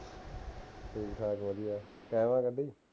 ਠੀਕ ਠਾਕ ਵਧੀਆ ਕਿਵੇਂ ਬੱਲੀ